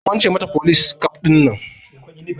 Akwance mata folis kaf ɗinan